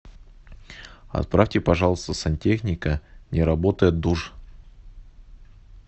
отправьте пожалуйста сантехника не работает душ